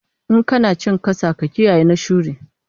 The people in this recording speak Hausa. In kana cin kasa, ka kiyayi na shuri